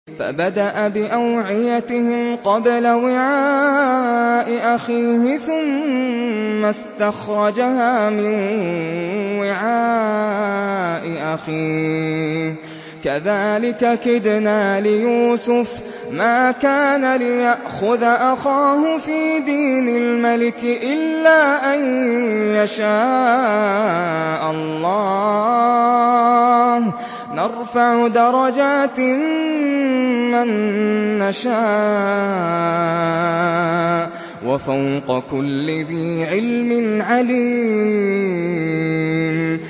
فَبَدَأَ بِأَوْعِيَتِهِمْ قَبْلَ وِعَاءِ أَخِيهِ ثُمَّ اسْتَخْرَجَهَا مِن وِعَاءِ أَخِيهِ ۚ كَذَٰلِكَ كِدْنَا لِيُوسُفَ ۖ مَا كَانَ لِيَأْخُذَ أَخَاهُ فِي دِينِ الْمَلِكِ إِلَّا أَن يَشَاءَ اللَّهُ ۚ نَرْفَعُ دَرَجَاتٍ مَّن نَّشَاءُ ۗ وَفَوْقَ كُلِّ ذِي عِلْمٍ عَلِيمٌ